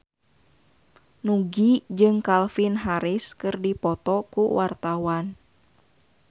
Nugie jeung Calvin Harris keur dipoto ku wartawan